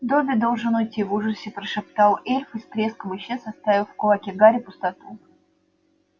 добби должен уйти в ужасе прошептал эльф и с треском исчез оставив в кулаке гарри пустоту